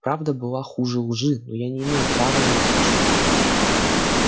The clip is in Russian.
правда была хуже лжи но я не имел права на ложь